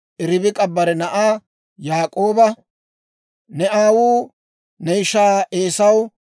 Ribik'a bare na'aa Yaak'ooba, «Ne aawuu ne ishaa Eesaw,